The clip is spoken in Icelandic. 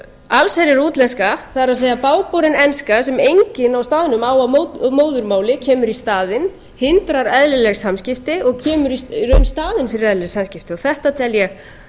allsherjar íslenska það er bágborin enska sem enginn á staðnum á að móðurmáli kemur í staðinn hindrar eðlileg samskipti og kemur í raun í staðinn fyrir eðlileg samskipti þetta tel ég